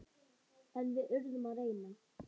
En við yrðum að reyna.